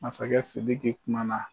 Masakɛ Sidiki kuma na